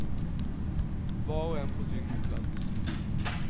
Var och en på sin plats.